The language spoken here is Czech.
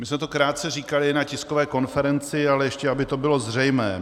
My jsme to krátce říkali na tiskové konferenci, ale ještě aby to bylo zřejmé.